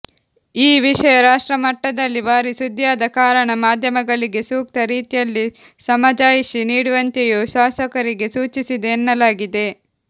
ಈ ವಿಷಯ ರಾಷ್ಟ್ರಮಟ್ಟದಲ್ಲಿ ಭಾರಿ ಸುದ್ದಿಯಾದ ಕಾರಣ ಮಾಧ್ಯಮಗಳಿಗೆ ಸೂಕ್ತ ರೀತಿಯಲ್ಲಿ ಸಮಜಾಯಿಷಿ ನೀಡುವಂತೆಯೂ ಶಾಸಕರಿಗೆ ಸೂಚಿಸಿದೆ ಎನ್ನಲಾಗಿದೆ